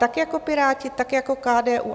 Tak jako Piráti, tak jako KDU.